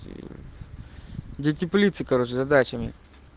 для теплицы короче задачами